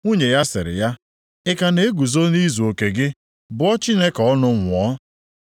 Nwunye ya sịrị ya, “Ị ka na-eguzo nʼizuoke gị? Bụọ Chineke ọnụ, nwụọ.”